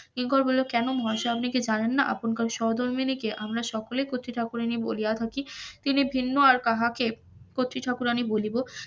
কিঙ্কর বলিলেন কেন মহাশয় আপনি কি জানেন না আপনার সহধর্মিনীকে আমরা সকলে কত্রী ঠাকুরানী বলিয়া থাকি তিনি ভিন্ন আর কাহাকে কত্রী ঠাকুরানির বলিব,